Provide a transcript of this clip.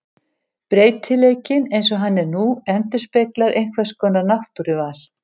Breytileikinn eins og hann er nú endurspeglar einhvers konar náttúruval.